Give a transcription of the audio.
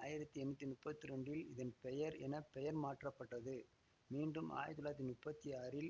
ஆயிரத்தி எண்ணூத்தி முப்பத்தி இரண்டில் இதன் பெயர் என பெயர் மாற்றப்பட்டது மீண்டும் ஆயிரத்தி தொள்ளாயிரத்தி முப்பத்தி ஆறில்